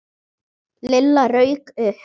Lilla rauk upp.